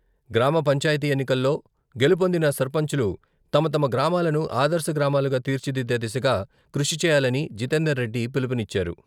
గ్రామ పంచాయతీ ఎన్నికల్లో గెలుపొందిన సర్పంచులు తమ తమ గ్రామాలను ఆదర్శ గ్రామాలుగా తీర్చిదిద్దే దిశగా కృషి చేయాలని జితేందర్ రెడ్డి పిలుపునిచ్చారు.